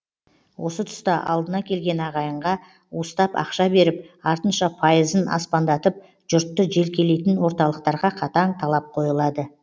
осы тұста алдына келген ағайынға уыстап ақша беріп артынша пайызын аспандатып жұртты желкелейтін орталықтарға қатаң талап қойылады